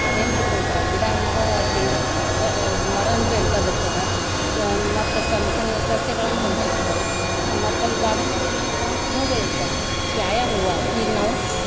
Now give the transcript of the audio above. ನೆನ್ಪ ಇಟ್ಕೊಂತಾರ ಗಿಡ ಅಂದ್ರ ಹೆಂಗಿರ್ತದ ಮರ ಅಂದ್ರ ಎಂತದ್ ಇರ್ತದ ಮತ್ ಸಣ್ ಸಣ್ ಸಸ್ಯಗಳಂದ್ರ ಎಂತಾವ್ ಇರ್ತಾವು ಮತ್ ಅಲ್ಲಿ garden ಒಳಗ್ ಏನ್ ಇರ್ತಾವ್ ಅಂದ್ರ ಹೂವ್ ಗಳಿರ್ತಾವೂ ಯಾ ಯಾ ಹೂವ ಈಗ ನಾವು .